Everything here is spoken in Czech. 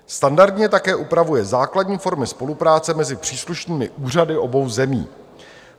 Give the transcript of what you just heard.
Standardně také upravuje základní formy spolupráce mezi příslušnými úřady obou zemí.